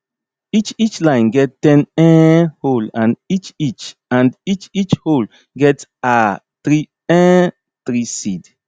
each each line get ten um hole and each each and each each hole get um three um three seed